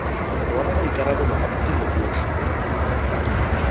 rwala maikarabelo a ditiro tsotlhe